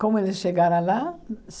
Como eles chegaram lá?